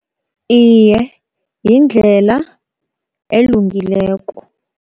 Iye yindlela elungileko.